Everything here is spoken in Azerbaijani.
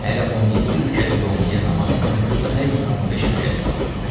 Hələ 17 rükət yömüyyə namazının demək 15 rükəti qalır.